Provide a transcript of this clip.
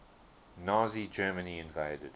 nazi germany invaded